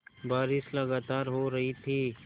बारिश लगातार हो रही थी